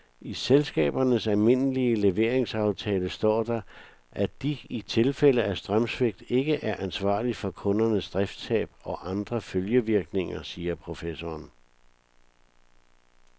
I elselskabernes almindelige leveringsaftaler står der, at de i tilfælde af strømsvigt ikke er ansvarlig for kundernes driftstab og andre følgevirkninger, siger professoren.